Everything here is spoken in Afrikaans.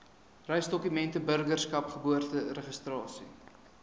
reisdokumente burgerskap geboorteregistrasie